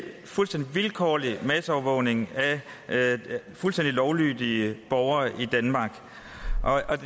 fuldstændig vilkårlig masseovervågning af fuldstændig lovlydige borgere i danmark